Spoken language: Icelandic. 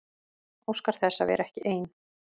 Óskar þess að vera ekki ein.